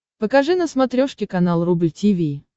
покажи на смотрешке канал рубль ти ви